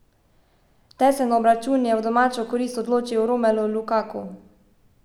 Tesen obračun je v domačo korist odločil Romelu Lukaku.